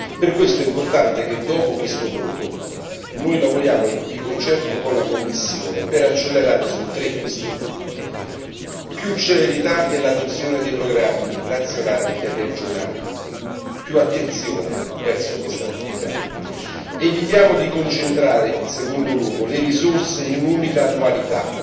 Per questo è importante che dopo questo voto noi lavoriamo di concerto con la Commissione per accelerare su tre questioni più celerità nell'adozione dei programmi nazionali e regionali, più attenzione verso questa attività, evitiamo di concentrare, in secondo luogo, le risorse in un'unica annualità